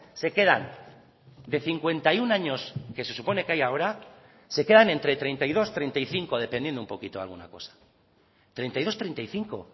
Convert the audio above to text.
se quedan de cincuenta y uno años que se supone que hay ahora se quedan entre treinta y dos treinta y cinco dependiendo un poquito de alguna cosa treinta y dos treinta y cinco